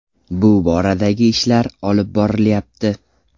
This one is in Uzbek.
Bu boradagi ishlar olib borilyapti.